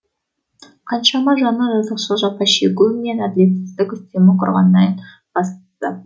қаншама жанның жазықсыз жапа шегуі мен әділетсіздік үстемдік құрғандайын бастап